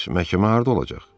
Bəs məhkəmə harda olacaq?